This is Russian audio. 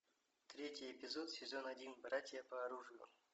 третий эпизод сезон один братья по оружию